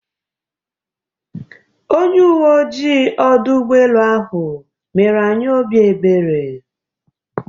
Onye uwe oji ọdụ ụgbọelu ahụ mere anyị obi ebere.